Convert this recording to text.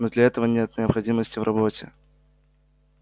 но для этого нет необходимости в работе